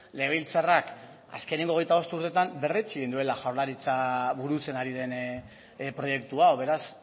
legebiltzarrak azkeneko hogeita bost urtetan berretsi egin duela jaurlaritza burutzen ari den proiektu hau beraz